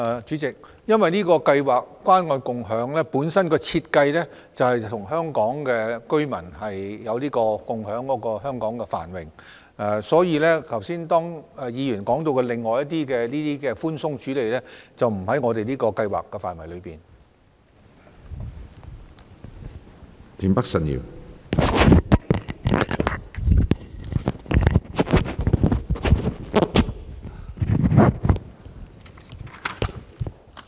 主席，由於關愛共享計劃的設計是要與香港居民共享繁榮，所以剛才議員提及的寬鬆處理做法，並不在這項計劃的範圍內。